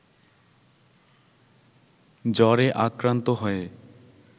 জ্বরে আক্রান্ত হয়ে